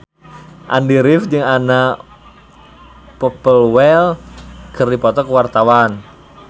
Andy rif jeung Anna Popplewell keur dipoto ku wartawan